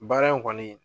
Baara in kɔni